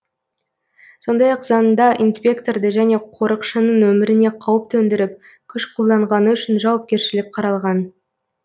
сондай ақ заңда инспекторды және қорықшының өміріне қауіп төндіріп күш қолданғаны үшін жауапкершілік қаралған